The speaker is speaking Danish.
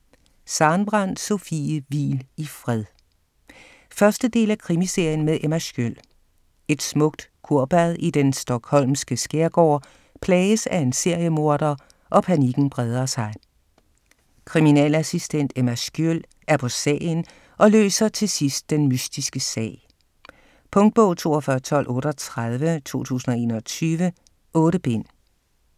Sarenbrant, Sofie: Hvil i fred 1. del af Krimiserien med Emma Sköld. Et smukt kurbad i den Stockholmske skærgård plages af en seriemorder, og panikken breder sig. Kriminalassistent Emma Sköld er på sagen, og løser til sidst den mystiske sag. Punktbog 421238 2021. 8 bind.